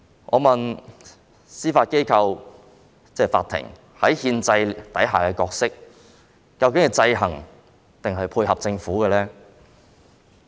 我問司法機構在憲制下的角色，究竟是制衡抑或配合政府呢？